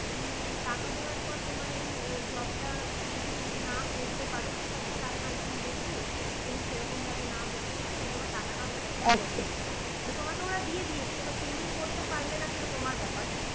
উম টাকা দেওয়ার পর তোমার এই job টা যদি তুমি না করতে পারো মানে হয়তো চার পাঁচদিন দেখবে। যদি সেরকম ভাবে না করতে পারো তাহলে তোমার টাকাটাও গেলো ও গেলো। মানে তোমাকে ওরা দিয়ে দিয়েছে এবার তুমি করতে পারলে না সেটা তোমার ব্যাপার।